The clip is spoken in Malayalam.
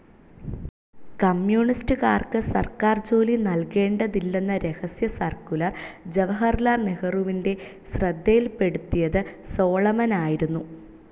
കമ്മ്യൂണിസ്റ്റുകാർക്ക് സർക്കാർജോലി നൽകേണ്ടതില്ലെന്ന രഹസ്യസർക്കുലർ ജവഹർലാൽ നെഹ്രുവിൻ്റെ ശ്രദ്ധയിൽപെടുത്തിയത് സോളമൻ ആയിരുന്നു.